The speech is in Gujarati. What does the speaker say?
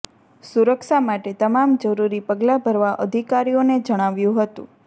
સુરક્ષા માટે તમામ જરૂરી પગલા ભરવા અધિકારીઓને જણાવ્યું હતું